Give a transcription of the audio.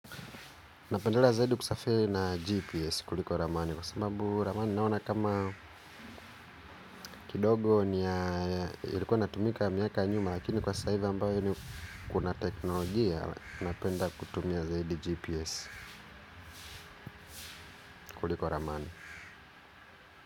Napendelea zaidi kusafiri na GPS kuliko Ramani. Kwa sababu ramani naona kama kidogo ilikuwa natumika miaka nyuma. Lakini kwa sasa hivi ambayo ni kuna teknolojia. Napenda kutumia zaidi GPS kuliko ramani.